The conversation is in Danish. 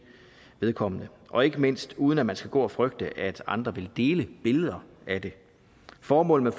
vedkommende og ikke mindst uden at man skal gå og frygte at andre vil dele billeder af det formålet